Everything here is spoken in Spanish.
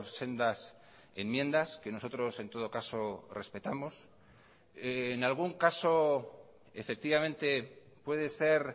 sendas enmiendas que nosotros en todo caso respetamos en algún caso efectivamente puede ser